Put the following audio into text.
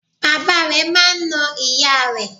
Bàbá rẹ̀ máa n na ìyá rẹ̀